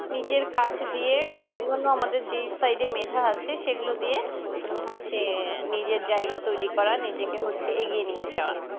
নিজের কাজ দিয়ে অন্যনো যেই side এ মেধা আছে সেগুলো দিয়ে উম হচ্ছে নিজের জায়গা তৈরী করার নিজেকে হচ্ছে এগিয়ে নিয়ে যাওয়া